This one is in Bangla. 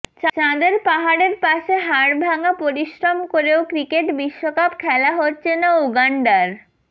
চাঁদের পাহাড়ের পাশে হাড়ভাঙা পরিশ্রম করেও ক্রিকেট বিশ্বকাপ খেলা হচ্ছে না উগান্ডার